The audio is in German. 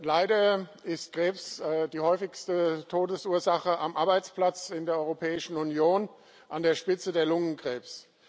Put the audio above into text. Leider ist Krebs die häufigste Todesursache am Arbeitsplatz in der Europäischen Union, an der Spitze der Lungenkrebs.